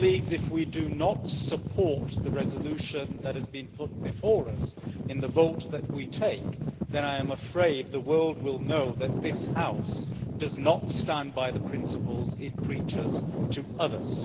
If we do not support the resolution that has been put before us in the vote that we take, then I am afraid the world will know that this House does not stand by the principles it preaches to others.